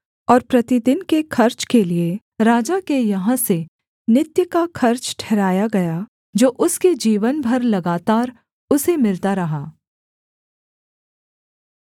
और प्रतिदिन के खर्च के लिये राजा के यहाँ से नित्य का खर्च ठहराया गया जो उसके जीवन भर लगातार उसे मिलता रहा